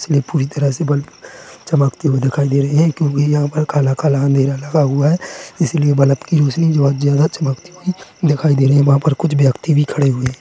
इसी लिए पूरी तरह से बल्ब चमकते दिखाई दे रही है क्योंकि यहाँ पर काला-काला अंधेरा लगा हुआ है इसलिए बल्ब कि रोशनी भी बहुत ज्यादा चमकती हुई दिखाई दे रही है वहाँ पर कुछ व्यक्ति भी खड़े हुए हैं।